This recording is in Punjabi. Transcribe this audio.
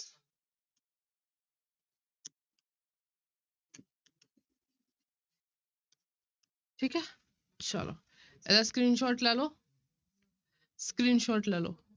ਠੀਖ ਹੈ ਚਲੋ ਇਹਦਾ screenshot ਲੈ ਲਓ screenshot ਲੈ ਲਓ।